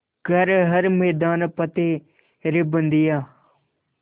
कर हर मैदान फ़तेह रे बंदेया